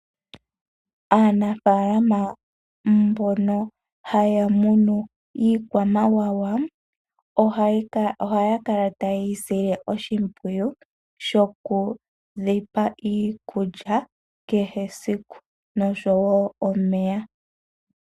Aanafalama mbono haya munu iikwamawawa ohaya kala ta ye yisile oshipwiyu shoku dhipa iikulya kehe esiku noshowo omeya.